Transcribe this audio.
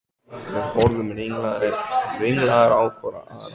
Við horfðum ringlaðar hvor á aðra.